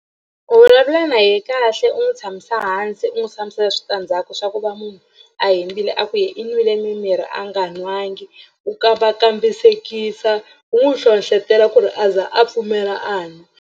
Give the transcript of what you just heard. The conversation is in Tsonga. U vulavula na yehe kahle u n'wi tshamisa hansi u n'wi hlamusela switandzhaku swa ku va munhu a hembile a ku ye i nwile mimirhi a nga nwangi u ka va kambisekisa u n'wi hlohlotela ku ri a za a pfumela a nwa.